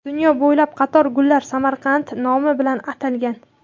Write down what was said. Dunyo bo‘ylab qator gullar Samarqand nomi bilan atalgan.